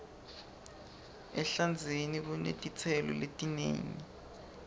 ehlandzeni kunetitselo letinengi